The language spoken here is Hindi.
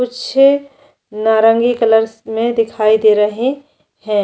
कुछ नवरंगी कलर्स में दिखाई दे रहै है।